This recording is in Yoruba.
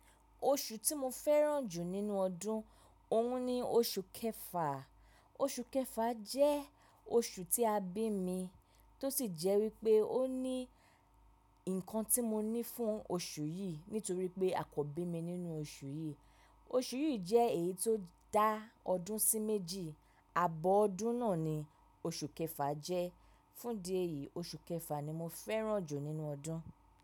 Oṣù tí mo fẹ́ràn jù nínú ọdún òun ni oṣù kẹfà. Oṣù kẹfà jẹ́ oṣù tí a bí mi tó sì jẹ́ wípé ó ní ǹkan tí mo ní fún oṣù yìí nítorí pé a kò bí mi nínú oṣù yìí. Oṣù yìí jẹ́ èyí tó dá ọdún sí méjì, abọ́ ọdún náà ni oṣù kẹfà jẹ́. Fún di èyí oṣù kẹfà ni mo fẹ́ràn jù nínú ọdún.